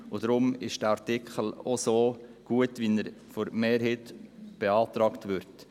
Deshalb ist dieser Artikel auch so gut, wie er von der Mehrheit beantragt wird.